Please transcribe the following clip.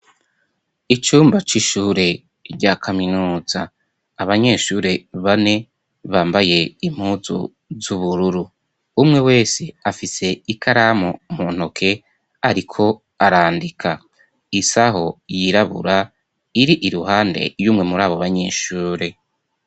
Icumba c'ishure rya kaminuza abanyeshure bane bambaye impuzu z'ubururu umwe wese afise ikaramu muntoke, ariko arandika isaho yirabura iri iruhande y'umwe muri abo banyeshure.